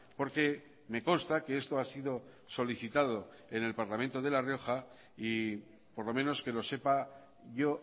porque me consta que esto ha sido solicitado en el parlamento de la rioja y por lo menos que lo sepa yo